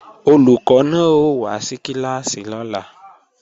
Olùkọ́ náà ó wá sí kíláàsì lọ́la